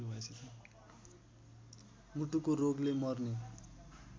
मुटुको रोगले मर्ने